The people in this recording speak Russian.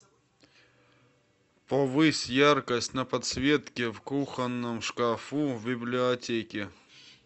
повысь яркость на подсветке в кухонном шкафу в библиотеке